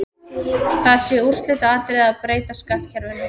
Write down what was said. Það sé úrslitaatriði að breyta skattkerfinu.